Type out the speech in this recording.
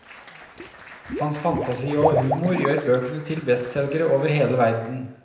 Hans fantasi og humor gjør bøkene til bestselgere over hele verden.